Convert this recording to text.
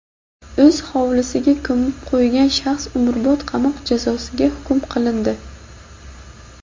o‘z hovlisiga ko‘mib qo‘ygan shaxs umrbod qamoq jazosiga hukm qilindi.